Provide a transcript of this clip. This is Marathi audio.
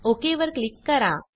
ओक वर क्लिक करा